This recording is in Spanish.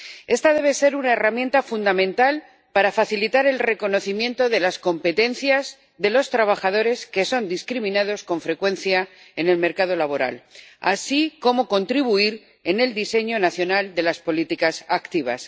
Esta debe ser una herramienta fundamental para facilitar el reconocimiento de las competencias de los trabajadores que son discriminados con frecuencia en el mercado laboral, así como para contribuir al diseño nacional de las políticas activas.